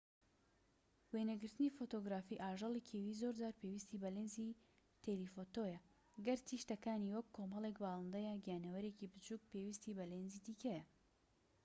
قۆناغەکان ڕوودەدەن چونکە لاتەنیشتی زوهرە یان مانگ کە ڕووی لە خۆرە ڕووناک دەبێتەوە. قۆناغەکانی زوهرە پشتیوانی کرد لە بیردۆزەی کۆپەرنیکۆس کە دەڵێت هەسارەکان دەسوڕێنەوە بەدەوری خۆردا